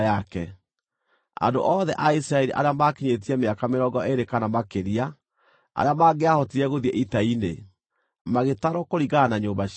Andũ othe a Isiraeli arĩa maakinyĩtie mĩaka mĩrongo ĩĩrĩ kana makĩria, arĩa mangĩahotire gũthiĩ ita-inĩ, magĩtarwo kũringana na nyũmba ciao.